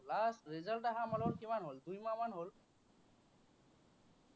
last result অহা আমাৰলোকৰ কিমান হ'ল, দুই মাহমান হ'ল।